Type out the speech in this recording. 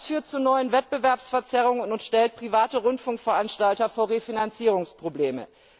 Das führt zu neuen Wettbewerbsverzerrungen und stellt private Rundfunkveranstalter vor Refinanzierungsprobleme.